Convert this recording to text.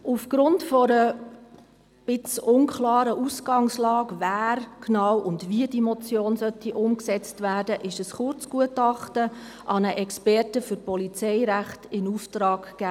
– Aufgrund einer unklaren Ausgangslage, wer diese umsetzen soll und wie sie genau umgesetzt werden soll, wurde ein Kurzgutachten an einen Experten für Polizeirecht in Auftrag gegeben.